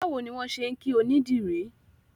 Báwo ni wọ́n ṣe ń kí onídìrí?